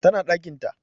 Tana ɗakin ta